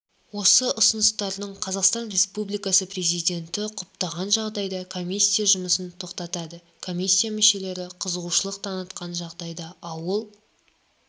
осы ұсыныстарды қазақстан республикасы президенті құптаған жағдайда комиссия жұмысын тоқтатады комиссия мүшелері қызығушылық танытқан жағдайда ауыл